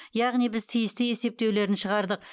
яғни біз тиісті есептеулерін шығардық